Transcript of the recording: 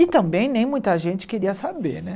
E também nem muita gente queria saber, né?